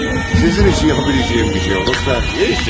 Sizin üçün edə biləcəyim bir şey olsa, heç çəkinməyin.